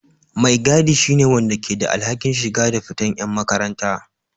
Mai gaɗi shine wanda ke da alhakin shiga da fita yan makaranta.